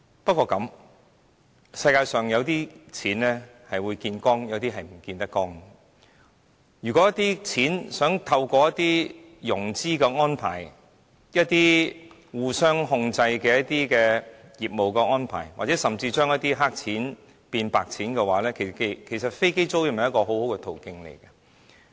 不過，世界上有些錢可以見光，有些錢卻是見不得光的，如果有人希望透過融資安排、互相控制的業務安排，甚至將一些"黑錢"變"白錢"，其實飛機租賃是一個很好的途徑。